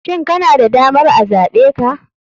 Shin kana da damar a zaɓe ka?